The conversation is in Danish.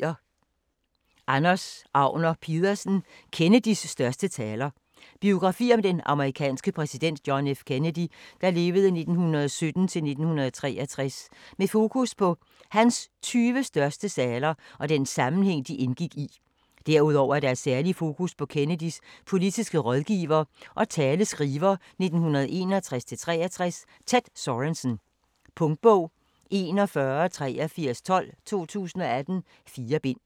Agner Pedersen, Anders: Kennedys største taler Biografi om den amerikanske præsident John F. Kennedy (1917-1963) med fokus på hans 20 største taler og den sammenhæng, de indgik i. Derudover er der et særligt fokus på Kennedys politiske rådgiver og taleskriver 1961-1963, Ted Sorensen. Punktbog 418312 2018. 4 bind.